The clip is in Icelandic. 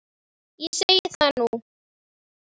Ég segi það nú!